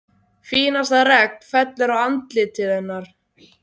Fínasta regn fellur á andlitið hennar.